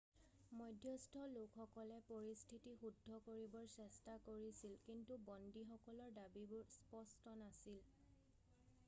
মধ্যস্থ লোকসকলে পৰিস্থিতি শুদ্ধ কৰিবৰ চেষ্টা কৰিছিল কিন্তু বন্দীসকলৰ দাবীবোৰ স্পষ্ট নাছিল